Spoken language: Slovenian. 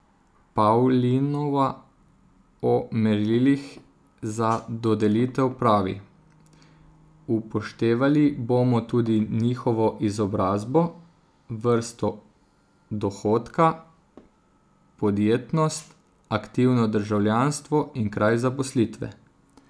Pavlinova o merilih za dodelitev pravi: "Upoštevali bomo tudi njihovo izobrazbo, vrsto dohodka, podjetnost, aktivno državljanstvo in kraj zaposlitve.